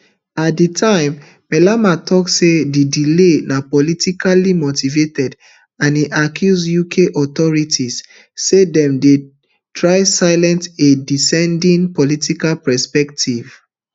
at di time malema tok say di delay na politically motivated and e accuse uk authorities say dem dey try silence a dissenting political perspective